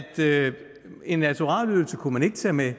en naturalieydelse kunne man ikke tage med